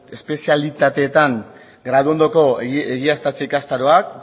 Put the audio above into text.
espezialitateetan graduondoko egiaztatze ikastaroak